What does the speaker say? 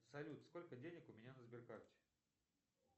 салют сколько денег у меня на сбер карте